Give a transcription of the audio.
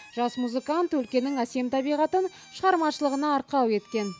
жас музыкант өлкенің әсем табиғатын шығармашылығына арқау еткен